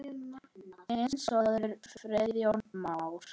Þinn sonur, Friðjón Már.